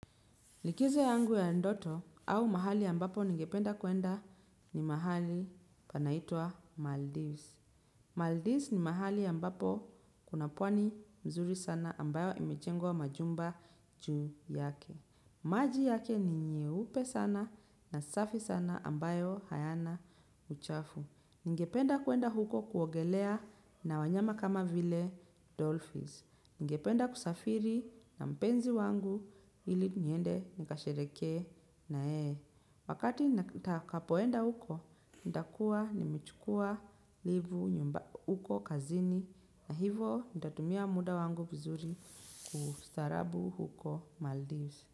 Likizo yangu ya ndoto au mahali ambapo ningependa kuenda ni mahali panaitwa Maldives. Maldives ni mahali ambapo kuna pwani nzuri sana ambayo imejengwa majumba juu yake. Maji yake ni nyeupe sana na safi sana ambayo hayana uchafu. Ningependa kuenda huko kuogelea na wanyama kama vile Dolphins. Ningependa kusafiri na mpenzi wangu ili niende nikashereheke na yeye. Wakati nitakapoenda huko, nitakuwa nimechukua livu huko kazini. Na hivo, nitatumia muda wangu vizuri kwa ustaarabu huko Maldives.